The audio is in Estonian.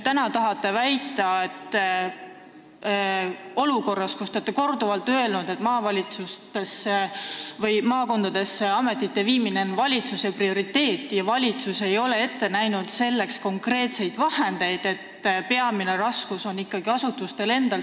Te olete korduvalt öelnud, et ametite viimine maakondadesse on valitsuse prioriteet, ehkki valitsus ei ole selleks konkreetseid vahendeid ette näinud, st peamine raskus on ikkagi asutustel endil.